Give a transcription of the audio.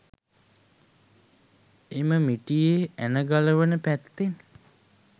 එම මිටියේ ඇන ගලවන පැත්තෙන්